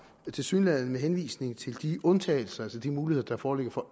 tilsyneladende med henvisning til de undtagelser altså de muligheder der foreligger